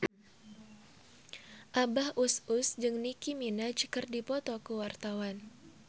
Abah Us Us jeung Nicky Minaj keur dipoto ku wartawan